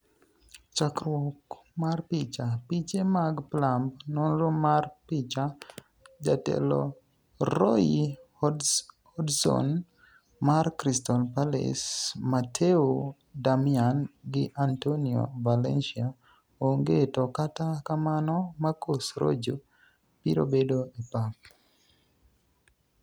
chakruok mar picha, piche mag Plumb, nonro mar picha . Jatelo Roy Hodgson mar Crystal Pallace Matteo Darmian gi Antonio Valancia onge to kata kamano Marcos Rojo biro bedo e pap